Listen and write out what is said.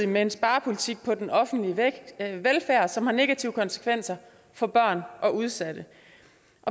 man en sparepolitik på den offentlige velfærd som har negative konsekvenser for børn og udsatte